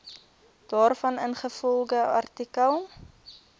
daarvan ingevolge artikel